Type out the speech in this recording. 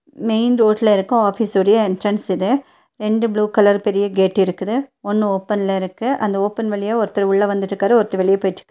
Main ரோட்ல இருக்க ஆஃபீஸுடய என்ட்ரன்ஸ் இது ரெண்டு ப்ளூ கலர் பெரிய கேட் இருக்குது ஒண்ணு ஓப்பன்ல இருக்கு. அந்த ஓப்பன் வழியா ஒருத்தர் உள்ள வந்துட்டுருக்காரு ஒருத்தர் வெளிய போயிட்டுருக்காரு.